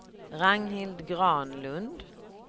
Ragnhild Granlund